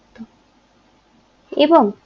এবং